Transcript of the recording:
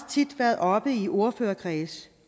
tit været oppe i ordførerkredse